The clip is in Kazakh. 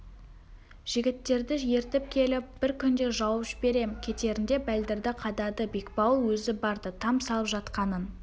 жігіттерді ертіп келіп бір күнде жауып жіберем кетерінде бәлдірді қадады бекбауыл өзі барды там салып жатқанын